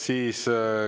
Selge.